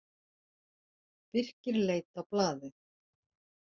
Birkir leit á blaðið.